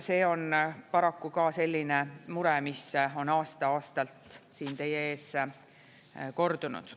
See on paraku ka selline mure, mis on aasta-aastalt siin teie ees kordunud.